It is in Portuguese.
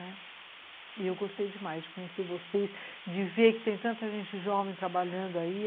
Né, e eu gostei demais de conhecer vocês, de ver que tem tanta gente jovem trabalhando aí.